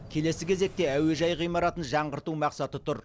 келесі кезекте әуежай ғимаратын жаңғырту мақсаты тұр